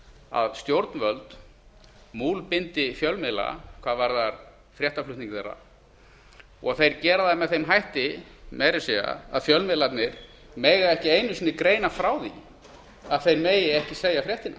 að stjórnvöld múlbindi fjölmiðla hvað varðar fréttaflutning þeirra og þeir gera það með þeim hætti meira að segja að fjölmiðlarnir mega ekki einu sinni greina frá því að þeir megi ekki segja fréttina